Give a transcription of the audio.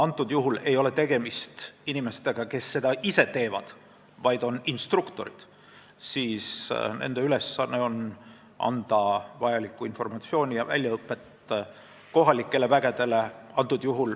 Antud juhul ei ole tegemist inimestega, kes seda ise teevad, vaid instruktoritega, kelle ülesanne on anda vajalikku informatsiooni ja väljaõpet kohalikele vägedele.